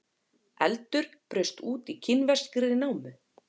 Eldur braust út í kínverskri námu